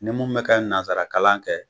Ni mun mɛ ka nanzarakalan kɛ